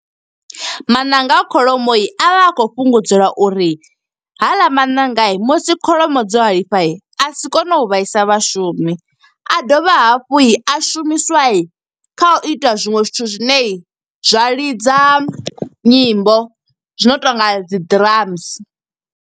Maṋanga a kholomo avha a khou fhungudzelwa uri, haḽa maṋanga musi kholomo dzo halifha, a si kone u vhaisa vhashumi. A dovha hafhu a shumiswa kha u ita zwiṅwe zwithu zwine, zwa lidza nyimbo. Zwi no tonga dzi drums.